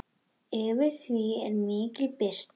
Yfir því er mikil birta.